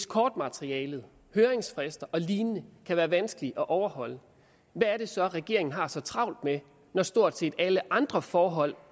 kortmateriale høringsfrister og lignende kan være vanskelige at overholde hvad er det så regeringen har så travlt med når stort set alle andre forhold